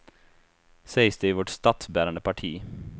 Sägs det i vårt statsbärande parti.